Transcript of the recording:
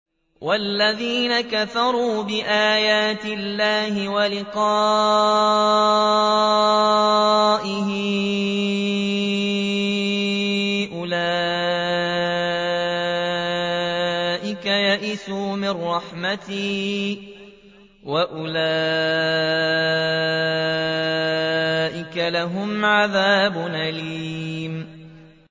وَالَّذِينَ كَفَرُوا بِآيَاتِ اللَّهِ وَلِقَائِهِ أُولَٰئِكَ يَئِسُوا مِن رَّحْمَتِي وَأُولَٰئِكَ لَهُمْ عَذَابٌ أَلِيمٌ